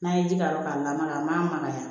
N'a ye ji k'a la dɔrɔn k'a lamaga a magaya